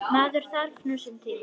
Maður þarf nú sinn tíma.